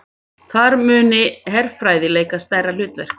Þar muni herfræði leika stærra hlutverk